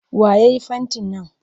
Wa ya yi fentin nan?